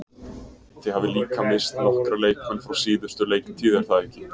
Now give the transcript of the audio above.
Þið hafið líka misst nokkra leikmenn frá síðustu leiktíð er það ekki?